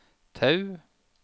Tau